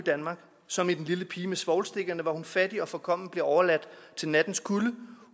som i den lille pige med svovlstikkerne hvor hun fattig og forkommen bliver overladt til nattens kulde